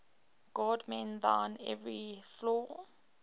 god mend thine every flaw